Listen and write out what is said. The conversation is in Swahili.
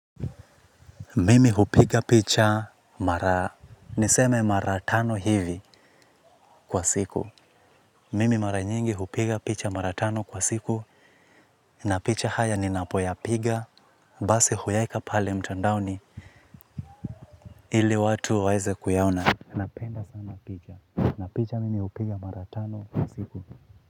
Mimi hupiga picha mara, niseme mara tano hivi kwa siku. Mimi mara nyingi hupiga picha mara tano kwa siku. Na picha haya ninapoyapiga, basi huyaeka pale mtandaoni ili watu waeze kuyaona. Napenda sana picha, na picha mimi hupiga mara tano kwa siku.